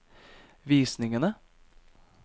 visningene